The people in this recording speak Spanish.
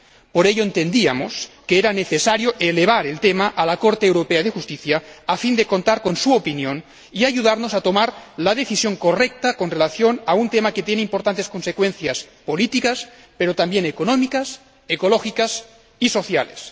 Por ello, entendíamos que era necesario elevar el tema al Tribunal de Justicia europeo a fin de contar con su opinión y que esta nos ayudara a tomar la decisión correcta en relación con un tema que tiene importantes consecuencias políticas, pero también económicas, ecológicas y sociales.